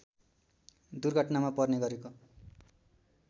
दुर्घटनामा पर्ने गरेको